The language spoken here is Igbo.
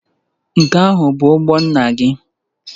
Nke ahụ bụ ụgbọ nna gị?